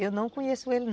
Eu não conheço ele não.